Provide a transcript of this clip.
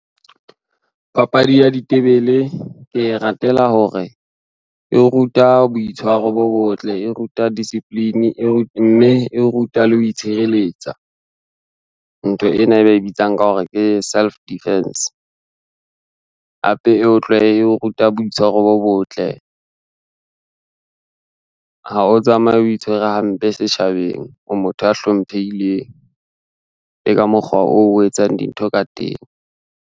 Papadi ya ditebele ke e ratela hore, e ruta boitshwaro bo botle, e ruta discipline, mme e ruta le ho itshireletsa, ntho ena e ba e bitsang ka hore ke self defence. Hape e e o ruta boitshwaro bo botle, ha o tsamaye o itshwere hampe setjhabeng o motho a hlomphehileng le ka mokgwa oo o etsang dintho ka teng.